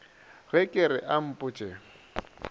ge ke re a mpotše